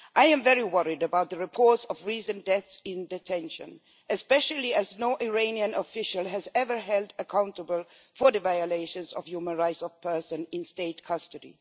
I am very worried about the reports of recent deaths in detention, especially as no Iranian official has ever been held accountable for the violations of human rights of persons in state custody.